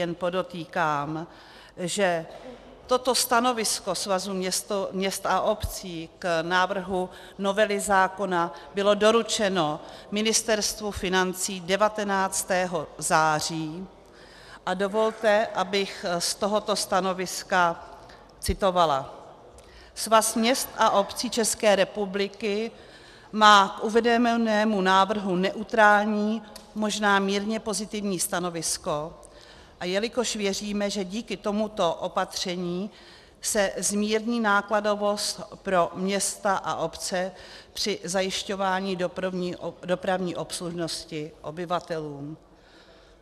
Jen podotýkám, že toto stanovisko Svazu měst a obcí k návrhu novely zákona bylo doručeno Ministerstvu financí 19. září, a dovolte, abych z tohoto stanoviska citovala: "Svaz měst a obcí České republiky má k uvedenému návrhu neutrální, možná mírně pozitivní stanovisko, jelikož věříme, že díky tomuto opatření se zmírní nákladovost pro města a obce při zajišťování dopravní obslužnosti obyvatelům."